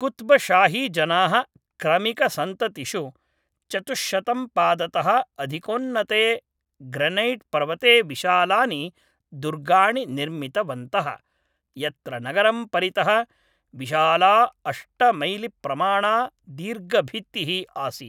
कुत्बशाहीजनाः क्रमिकसन्ततिषु, चतुश्शतं पादतः अधिकोन्नते ग्रनैट् पर्वते विशालानि दुर्गाणि निर्मितवन्तः, यत्र नगरं परितः विशाला अष्टमैलिप्रमाणा दीर्घभित्तिः आसीत्।